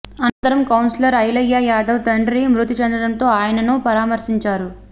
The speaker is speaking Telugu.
అనంతరం కౌన్సిలర్ ఐలయ్య యాదవ్ తండ్రి మృతి చెందడంతో ఆయనను పరామర్శించారు